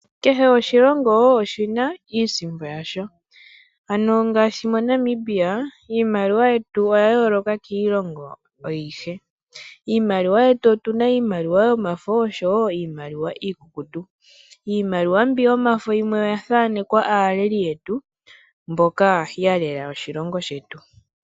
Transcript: Kehe oshilongo oshina iisimpo yasho, ano ngaashi moNamibia, iimaliwa yetu oya yooloka kiilongo ayihe. Iimaliwa yetu otuna iimaliwa yomafo osho wo iimaliwa iikukutu. Iimaliwa mbi yomafo yimwe oya thanekwa aaleli yetu mboka ya lela oshilongo shetu.